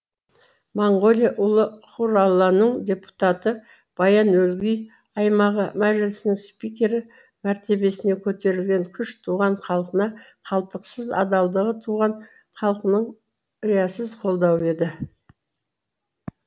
моңғолия ұлы хураланың депутаты баян өлгей аймағы мәжілісінің спикері мәртебесіне көтерген күш туған халқына қалдықсыз адалдығы туған халқының риясыз қолдауы еді